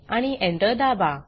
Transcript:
आणि Enter दाबा